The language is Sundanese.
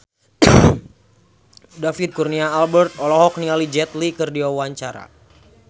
David Kurnia Albert olohok ningali Jet Li keur diwawancara